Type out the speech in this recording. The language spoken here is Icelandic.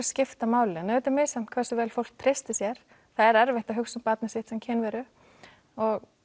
skipta máli en auðvitað er misjafnt hversu vel fólk treystir sér það er erfitt að hugsa um barnið sitt sem kynveru og